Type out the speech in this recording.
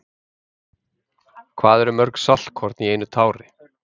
Hvað eru mörg saltkorn í einu tári?